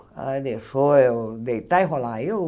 Aí deixou eu deitar e rolar. Aí eu